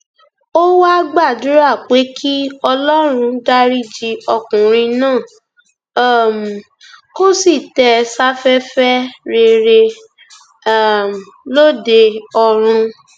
ó wáá gbàdúrà pé kí ọlọrun dariji ọkùnrin náà um kó sì tẹ ẹ sáfẹfẹ rere um lóde ọrun